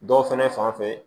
Dɔw fɛnɛ fanfɛ